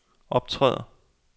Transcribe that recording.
optræder